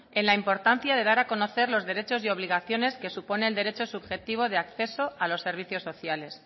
en la importancia de dar a conocer los derechos y obligaciones que supone el derecho subjetivo de acceso a los servicios sociales